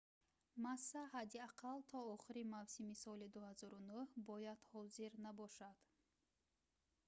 масса ҳадди ақал то охири мавсими соли 2009 бояд ҳозир набошад